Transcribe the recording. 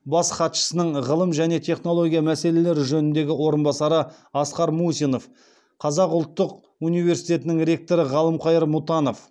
бас хатшысының ғылым және технология мәселелері жөніндегі орынбасары асқар мусинов қазақ ұлттық университетінің ректоры ғалымқайыр мұтанов